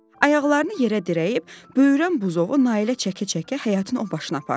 Ayaqlarını yerə dirəyib, böyürən buzovu Nailə çəkə-çəkə həyətin o başına apardı.